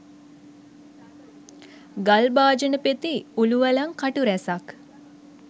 ගල් භාජනපෙති උළුවළං කටු රැසක්